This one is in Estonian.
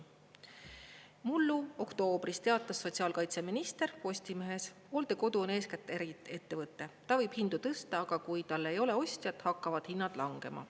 Mullu oktoobris teatas sotsiaalkaitseminister Postimehes: hooldekodu on eeskätt äriettevõte, ta võib hindu tõsta, aga kui tal ei ole ostjat, hakkavad hinnad langema.